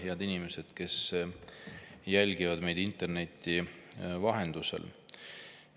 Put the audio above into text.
Head inimesed, kes te jälgite meid interneti vahendusel!